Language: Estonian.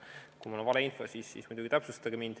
Kui mul on vale info, siis muidugi täpsustage.